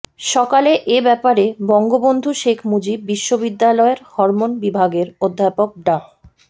সকালে এ ব্যাপারে বঙ্গবন্ধু শেখ মুজিব বিশ্ববিদ্যালয়ের হরমোন বিভাগের অধ্যাপক ডা